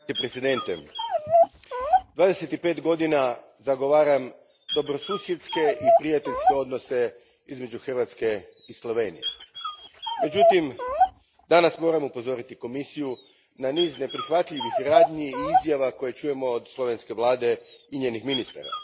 Gospodine predsjedniče, dvadeset i pet godina zagovaram dobrosusjedske i prijateljske odnose između Hrvatske i Slovenije. Međutim, danas moram upozoriti Komisiju na niz neprihvatljivih radnji i izjava koje čujemo od slovenske vlade i njenih ministara.